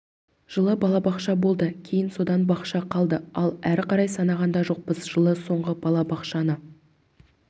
жылы балабақша болды кейін содан бақша қалды ал әрі қарай санаған да жоқпыз жылы соңғы балабақшаны